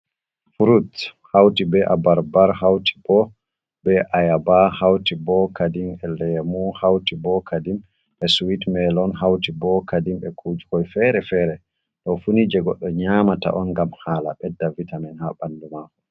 Furut hauti be a barbar, hauti bo be ayaba, hauti bo kadim e lemu, hauti bo kadim be suwit milon, hauti bo kadim e kukoi fere-fere ɗo funi je goɗɗo nyamata on ngam hala ɓedda vitamin ha ɓandu mako.